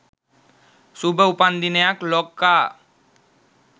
සුභ උපන්දිනයක් ලොක්කා